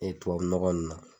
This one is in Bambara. E tubabunɔgɔ ninnu na.